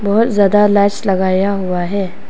बहोत ज्यादा लाइट्स लगाया हुआ है।